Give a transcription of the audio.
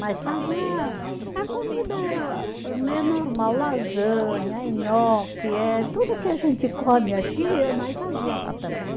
Mas fazia, a comida era meio normal, lasanha, nhoque, eh tudo que a gente come aqui, nós fazia lá também.